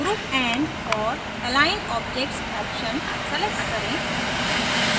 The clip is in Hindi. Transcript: group and/or align objects option select करें